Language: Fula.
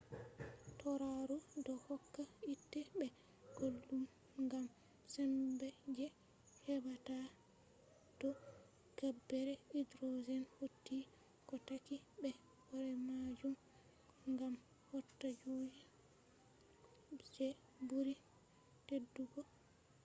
tauraro do hokka hiite be guldum gam sembe je hebata to gabbere hydrogen hauti ko takki be horemajum gam hauta kuje je buri teddugo